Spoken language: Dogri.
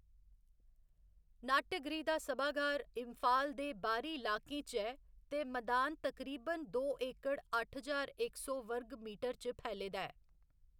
नाट्यगृह दा सभागार इम्फाल दे बाह्‌री लाकें च ऐ ते मदान तकरीबन दो एकड़ अट्ठ ज्हार इक सौ वर्ग मीटर च फैले दा ऐ।